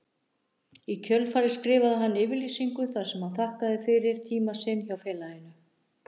Í kjölfarið skrifaði hann yfirlýsingu þar sem hann þakkaði fyrir tíma sinn hjá félaginu.